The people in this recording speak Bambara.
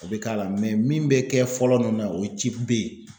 O be k'a la min be kɛ fɔlɔ nunnu na , o ye B ye.